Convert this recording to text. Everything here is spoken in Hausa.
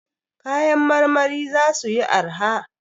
Kayan marmari za suyi arha.